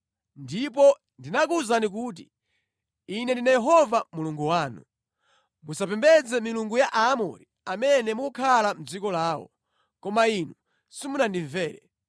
Ndipo ndinakuwuzani kuti, ‘Ine ndine Yehova Mulungu wanu; musapembedze Milungu ya Aamori amene mukukhala mʼdziko lawo.’ Koma inu simunandimvere.”